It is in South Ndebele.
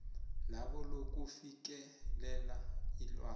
labo lokufikelela ilwazi